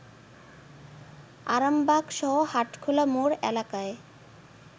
আরামবাগসহ হাটখোলা মোড় এলাকায়